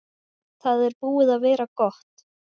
Það er búið að vera gott.